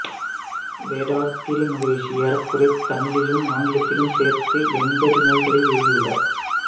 வேதாத்திரி மகரிஷி ஏறக்குறைய தமிழிலும் ஆங்கிலத்திலும் சேர்த்து எண்பது நூல்களை எழுதியுள்ளார்